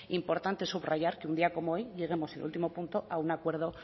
importante subrayar que un día como hoy lleguemos en el último punto a un acuerdo